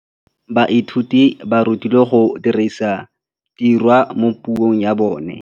Baithuti ba rutilwe go dirisa tirwa mo puong ya bone.